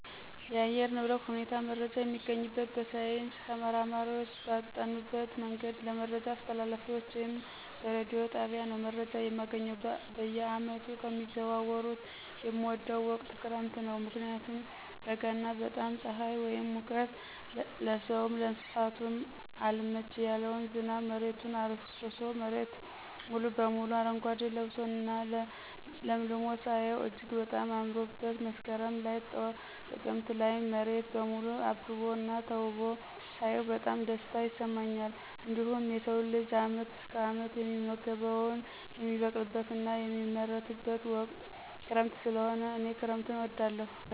የአየር ንብረት ሁኔታ መረጃ የሚገኝበት በሳይንስ ተመራማሪዎች ባጠኑበት መንገድ ለመረጃ አስተላላፊዎች ወይም በረዲዮ ጣቢያ ነው መረጃ የማገኘው። በየዓመቱ ከሚዘዋወሩት የምወደው ወቅት ክረምት ነው ምክንያቱም በጋ እና በጣም ፅሐይ ወይም ሙቀት ለስውም ለእንሰሳውም አልመች ያለውን ዝናብ መሬቱን አረስርሶ መሬት ሙሉ በሙሉ አረጓዴ ለብሶ እና ለምልሞ ሳየው እጅግ በጣም አምሮበት መስከረም ላይ ጥቅምት ላይ መሬት በሙሉ አብቦ እና ተውቦ ሳያው በጣም ደስታ ይሰማኛል። እንዲሁም የሰው ልጅ አመት እስከ አመት የሚመገበውን የሚበቅልበት እና የሚመረትበት ወቅት ክረምት ሰለሆነ እኔ ክረምትን እወዳለሁ።